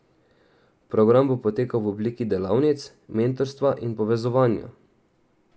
Program bo potekal v obliki delavnic, mentorstva in povezovanja.